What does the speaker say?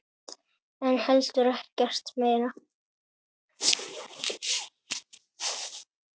En heldur ekkert meira.